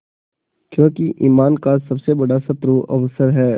क्योंकि ईमान का सबसे बड़ा शत्रु अवसर है